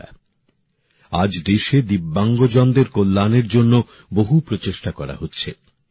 বন্ধুরা আজ দেশে ভিন্নভাবে সক্ষমদের কল্যাণের জন্য বহু উদ্যোগ নেওয়া হচ্ছে